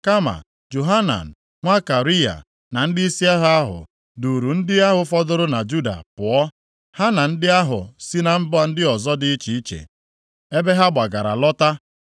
Kama Johanan nwa Kariya, na ndịisi agha ahụ, duuru ndị ahụ fọdụrụ na Juda pụọ, ha na ndị ahụ si na mba ndị ọzọ dị iche iche, ebe ha gbagara lọta.